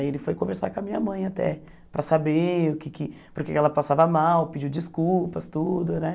Aí ele foi conversar com a minha mãe até, para saber o que que... porque ela passava mal, pediu desculpas, tudo, né?